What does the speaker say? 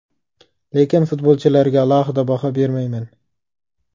Lekin futbolchilarga alohida baho bermayman.